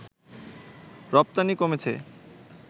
রপ্তানি কমেছে